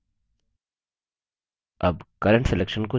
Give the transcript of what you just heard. अब current selection को चुनें